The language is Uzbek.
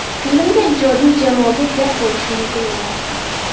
Filmga, ijodiy jamoaga gap bo‘lishi mumkin emas.